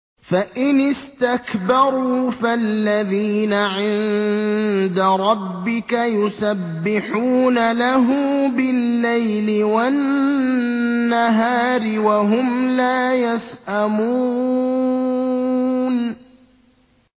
فَإِنِ اسْتَكْبَرُوا فَالَّذِينَ عِندَ رَبِّكَ يُسَبِّحُونَ لَهُ بِاللَّيْلِ وَالنَّهَارِ وَهُمْ لَا يَسْأَمُونَ ۩